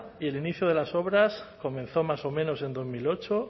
y el inicio de las obras comenzó más o menos en dos mil ocho